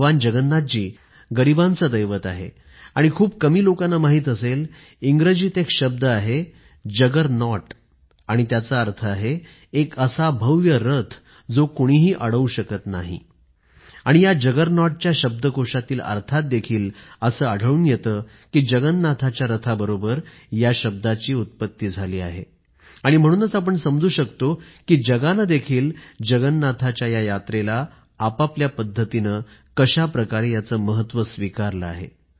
भगवान जगन्नाथ गरीबांचे दैवत आहे हे खूप कमी लोकांना माहित असेल इंग्रजीत एक शब्द आहे जगरनॉट आणि त्याचा अर्थ आहे एक असा भव्य रथ जो कुणीही अडवू शकत नाही आणि या जगरनॉटच्या शब्दकोशातील अर्थात देखील असं आढळून येतं कि जगन्नाथाच्या रथाबरोबरच या शब्दाची उत्पत्ती झाली आहे आणि म्हणूनच आपण समजू शकतो कि जगानं देखील जगन्नाथाच्या या यात्रेला आपापल्या पद्धतीनं कशा प्रकारे याचं महत्व स्वीकारलं आहे